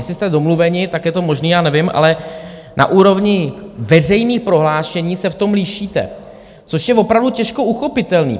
Jestli jste domluveni, tak je to možné, já nevím, ale na úrovni veřejných prohlášení se v tom lišíte, což je opravdu těžko uchopitelné.